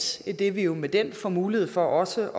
idet vi jo med den får mulighed for også